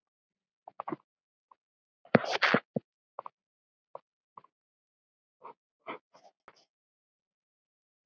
Hún var þó aldrei sótt.